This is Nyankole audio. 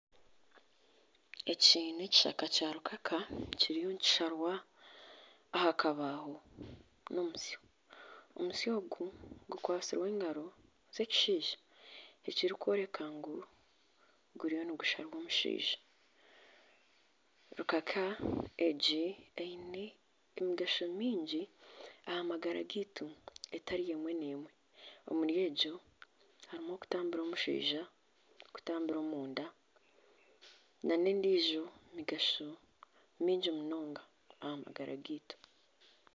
Eki n'ekishaka kya rukaka kiryo nikisharwa aha rubaaho n'omutsyo, omusyo ogu gukwatsirwe engaaro z'ekishaija ekirikworeka ngu kiriyo nikisharwa omushaija, rukaka egi eine emigasho mingi aha magara gaitu etari emwe n'emwe, omuri egyo harimu okutambira omunda, n'okutambira omushwiza nana endiijo migasho mingi munonga aha magara gaitu